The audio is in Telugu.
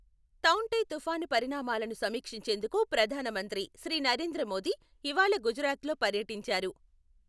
తౌఁ టే తుపాను పరిణామాలను సమీక్షించేందుకు ప్రధాన మంత్రి శ్రీ నరేంద్ర మోదీ ఇవాళ గుజరాత్లో పర్యటించారు.